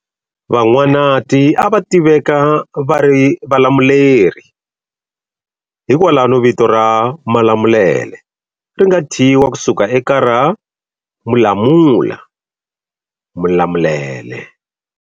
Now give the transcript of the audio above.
Van'wanati a va tiveka va ri valamuleri, hi kwalano vito ra Malamulele ri nga thyiwa ku suka eka ra Mulamula-Mulamulele.